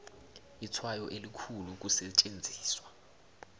itshwayo elikhulu ukusetjenziswa